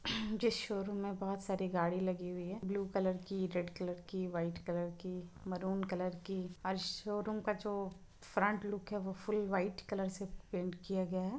इस शोरूम मे बहोत सारी गाड़ी लग हुई है ब्लू कलर की रेड कलर की व्हाइट कलर की मारून कलर की और शोरूम का जो फ्रन्ट लुक है वो फूल व्हाइट कलर से पैंट किया गया है।